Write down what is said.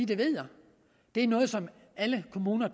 ved er noget som alle kommuner